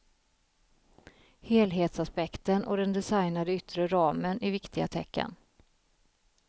Helhetsaspekten och den designade yttre ramen är viktiga tecken.